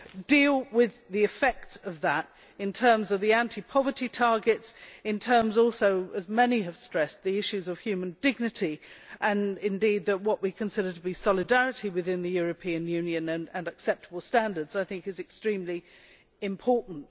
deal with the effects of that in terms of the anti poverty targets, in terms also, as many have stressed, of the issues of human dignity and indeed what we consider to be solidarity within the European Union and acceptable standards, which I think is extremely important.